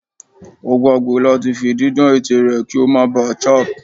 O gbagbe lati fi didan ètè rẹ ki o má ba chap